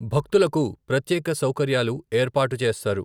భక్తులకు ప్రత్యేక సౌకర్యాలు ఏర్పాటు చేస్తారు.